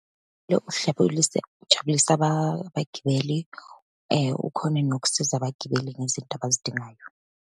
ujabulise abagibeli, ukhone nokusiza abagibeli ngezinto abazidingayo.